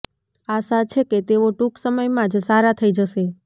આશા છે કે તેઓ ટૂંક સમયમાં જ સારા થઇ જશે